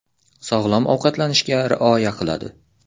Sog‘lom ovqatlanishga rioya qiladi .